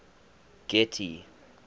getty